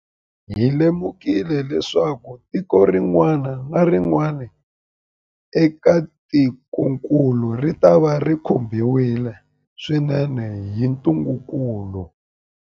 Hi lemukile leswaku tiko rin'wana na rin'wana eka tikokulu ritava ri khumbiwile swinene hi ntungukulu.